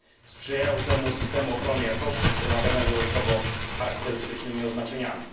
Sprzyjają temu systemy ochrony jakości wspomagane dodatkowo charakterystycznymi oznaczeniami.